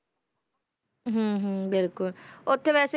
ਹਮ ਹਮ ਬਿਲਕੁਲ ਉੱਥੇ ਵੈਸੇ,